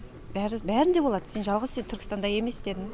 бәрі бәрінде болады сен жалғыз сен түркістанда емес дедім